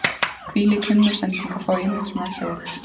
Hvílík himnasending að fá einmitt svona hjól!